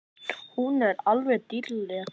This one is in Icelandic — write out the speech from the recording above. Hún er alveg dýrleg!